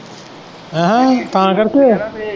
ਆਂਹਾ ਤਾਂ ਕਰਕੇ।